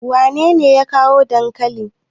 wanene ya kawo dankalin?